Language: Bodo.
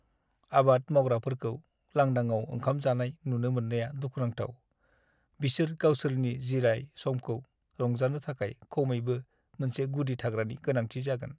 आबाद मावग्राफोरखौ लांदाङाव ओंखाम जानाय नुनो मोननाया दुखुनांथाव। बिसोर गावसोरनि जिराय-समखौ रंजानो थाखाय खमैबो मोनसे गुदि थाग्रानि गोनांथि जागोन।